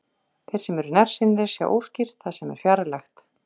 Þeir sem eru nærsýnir sjá óskýrt það sem er fjarlægt.